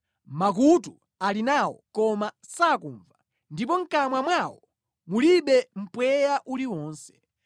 makutu ali nawo, koma sakumva ndipo mʼkamwa mwawo mulibe mpweya uliwonse.